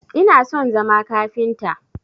Ina son zama kafinta